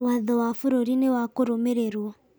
Watho wa bũrũri nĩ wa kũrũmĩrĩrwo